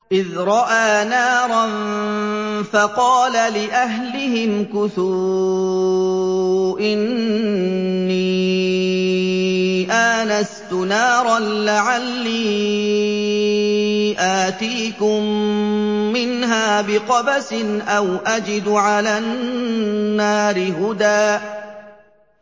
إِذْ رَأَىٰ نَارًا فَقَالَ لِأَهْلِهِ امْكُثُوا إِنِّي آنَسْتُ نَارًا لَّعَلِّي آتِيكُم مِّنْهَا بِقَبَسٍ أَوْ أَجِدُ عَلَى النَّارِ هُدًى